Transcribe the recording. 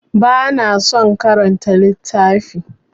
Ba na son karanta littafi.